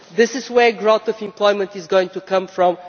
This is where growth in employment is going to come from.